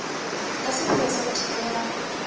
ka sepheo sa ho thibela